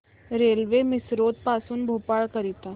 railway Misrod पासून भोपाळ करीता